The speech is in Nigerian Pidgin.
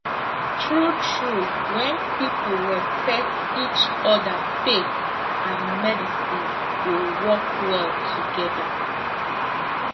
true true when people respect each other faith and medicine go work well together